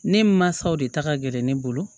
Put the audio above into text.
Ne mansaw de ta ka gɛlɛn ne bolo